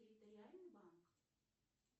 территориальный банк